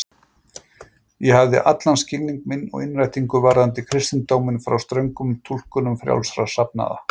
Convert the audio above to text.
Ég hafði allan skilning minn og innrætingu varðandi kristindóminn frá ströngum túlkunum frjálsra safnaða.